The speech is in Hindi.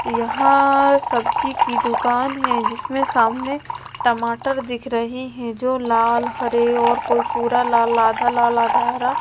यहां सब्जी की दुकान है जिसमें सामने टमाटर दिख रही हैं जो लाल हरे और कोई पूरा लाल आधा लाल आधा हरा--